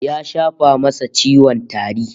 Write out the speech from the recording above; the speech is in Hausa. Ya shafa masa ciwon tari